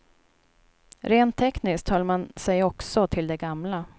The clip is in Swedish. Rent tekniskt höll man sig också till det gamla.